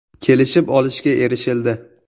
“Kelishib olishga erishildi.